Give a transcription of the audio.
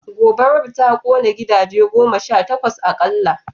Gobarar ta kone gidaje goma sha takwas akalla